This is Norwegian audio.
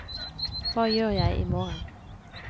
hva gjør jeg imorgen